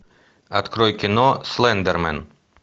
открой кино слендермен